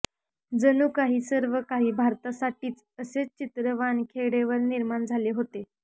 जणू काही सर्व काही भारतासाठीच असेच चित्र वानखेडेवर निर्माण झाले होते